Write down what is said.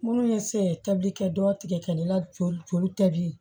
Minnu ye se tabikɛ dɔ tigɛ ne la joli joli tɛ bilen